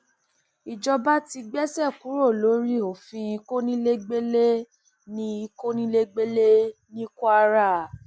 ìjọba ti gbéṣẹ kúrò lórí òfin kọnilẹgbẹlẹ ní kọnilẹgbẹlẹ ní kwara